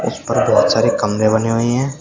इस पर बहोत सारे कमरे बने हुए हैं।